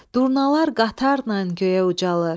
Durnalar qatarla göyə ucalar.